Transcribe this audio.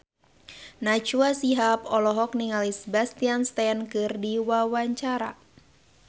Najwa Shihab olohok ningali Sebastian Stan keur diwawancara